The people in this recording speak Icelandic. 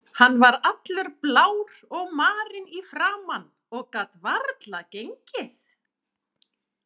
Hann var allur blár og marinn í framan og gat varla gengið.